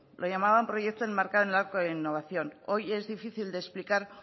lo llamaban proyecto enmarcado en el arco de la innovación hoy es difícil de explicar